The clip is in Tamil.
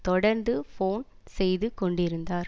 தொடர்ந்து போன் செய்து கொண்டிருந்தார்